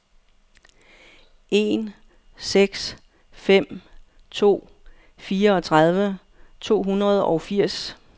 en seks fem to fireogtredive to hundrede og firs